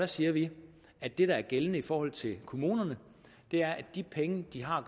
siger vi at det der er gældende i forhold til kommunerne er at de penge de har at